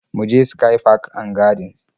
Mu je sky park and gardens